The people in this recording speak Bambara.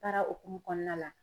Baara hukumu kɔnɔna la.